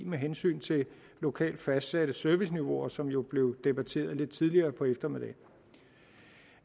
med hensyn til lokalt fastsatte serviceniveauer som jo blev debatteret lidt tidligere på eftermiddagen